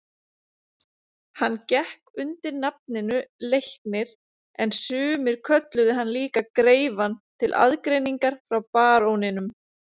Hann gekk undir nafninu Leiknir en sumir kölluðu hann líka greifann til aðgreiningar frá baróninum.